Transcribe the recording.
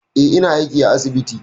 Eh, ina aiki a asibiti.